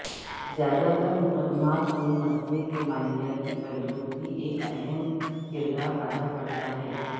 زیادہ تر مقدمات میں مسئلہ کے مالیاتی پہلو بھی ایک اہم کردار ادا کرتا ہے